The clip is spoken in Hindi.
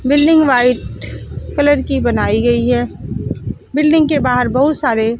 बिल्डिंग व्हाइट कलर की बनाई गई है बिल्डिंग के बाहर बहुत सारे--